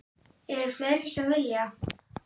Eru fleiri sem vilja?